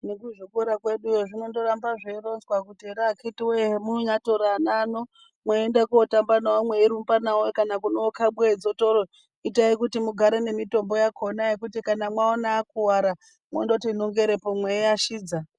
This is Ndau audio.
Nekuzvikora kweduwo zvinoramba zveyingoronzewa kuti here akitiwoye zvamu nombonyavatora vana vano meyienda kunotamba navo meyirumba navo nyangwe kunokabwe dzotoro itai kuti mugare nemitombo yakona yekuti kana mwawona akuwara mondoti nongerepo mweyi ashidza.